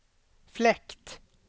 fläkt